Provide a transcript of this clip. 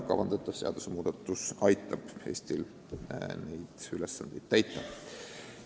Kavandatav seadusmuudatus aitab Eestil neid ülesandeid täita.